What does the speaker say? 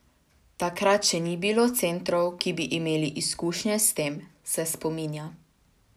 Takrat še ni bilo centrov, ki bi imeli izkušnje s tem, se spominja.